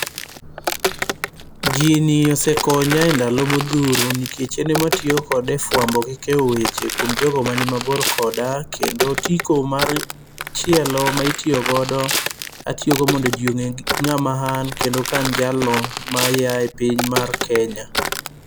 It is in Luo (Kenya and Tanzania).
Gini ose konya endalo modhuro nikech en ema atiyo kode e fuambo gi keyo weche kuom jogo manimabor koda. Kendo otiko mar machielo ma itiyo godo, atiyo go mondo ji ong'e ng'ama an kendo ka an jalno ma a e piny mar Kenya.